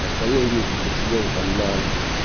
остальные дни как бы сидела там на альфе